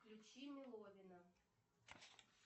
включи меловина